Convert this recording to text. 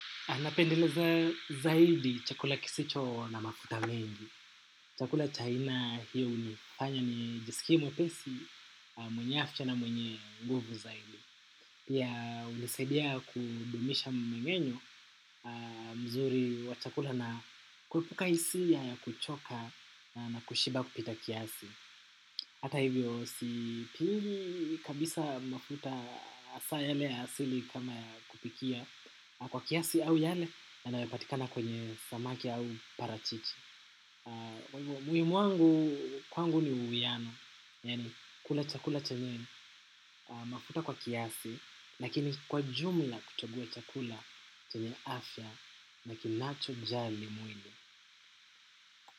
Anapendeleza zaidi chakula kisicho na mafuta mengi. Chakula cha aina hiyo hunifanya nijisikie mwepesi mwenye afya na mwenye nguvu zaidi. Pia hunisaidia kudumisha mmengenyo mzuri wa chakula na kuepuka hisia ya kuchoka na kushiba kupita kiasi. Hata hivyo si pili kabisa mafuta hasa yale ya asili kama ya kupikia kwa kiasi au yale yanayopatikana kwenye samaki au parachichi. Mwimwangu kwangu ni uwiyano, kula chakula chenye mafuta kwa kiasi, lakini kwa jumla kuchagua chakula chenye afya, lakini nacho jali mwili.